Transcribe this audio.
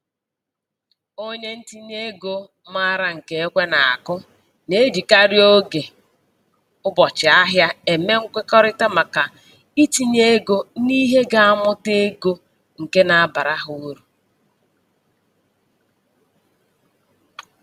Onye ntinyeego maara nke ekwe na-akụ na-ejikarị oge ụbọchị-ahịa eme nkwekọrịta maka itinye ego n'ihe ga-amụta ego nke na-abara ha uru.